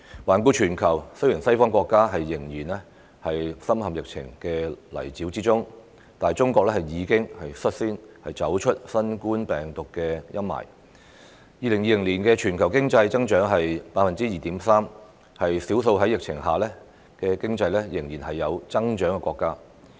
環顧全球，當西方國家仍然深陷疫情的泥沼，中國已率先走出新冠病毒的陰霾，於2020年錄得 2.3% 的全年經濟增長，是少數在疫情下經濟仍有增長的國家。